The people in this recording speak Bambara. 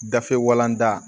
Gafe walanda